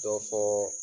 Dɔ fɔɔɔ